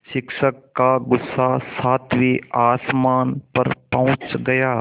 शिक्षक का गुस्सा सातवें आसमान पर पहुँच गया